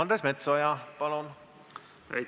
Andres Metsoja, palun!